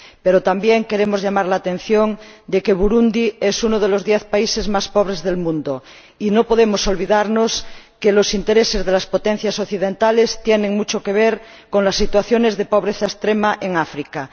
Pero también queremos llamar la atención sobre el hecho de que Burundi es uno de los diez países más pobres del mundo, y no podemos olvidarnos de que los intereses de las potencias occidentales tienen mucho que ver con las situaciones de pobreza extrema en África.